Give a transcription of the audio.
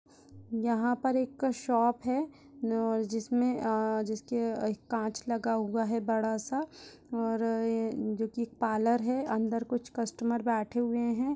यहाँ पर एक शॉप है और जिसमें अ जिसके कांच लगा हुआ है बड़ा सा और ये जो की पालर है अंदर कुछ कस्टमर बैठे हुए हैं।